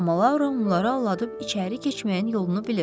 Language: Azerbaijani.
Amma Laura onları aldadıb içəri keçməyin yolunu bilir.